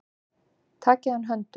Takið hann höndum.